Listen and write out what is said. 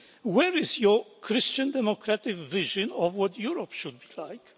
Where is your Christian democratic vision of what Europe should be like?